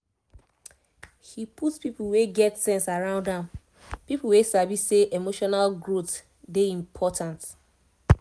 he put people wey get sense around am people wey sabi say emotional growth dey important